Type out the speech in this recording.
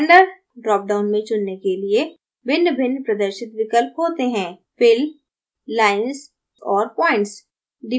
render drop down में चुनने के लिए भिन्नभिन्न प्रदर्शित विकल्प हैं जैसे: fill lines और points